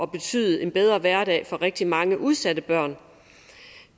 betyde en bedre hverdag for rigtig mange udsatte børn